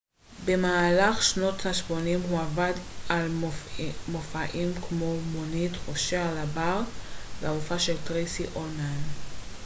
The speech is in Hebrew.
במהלך שנות השמונים הוא עבד על מופעים כמו מונית חופשי על הבר והמופע של טרייסי אולמן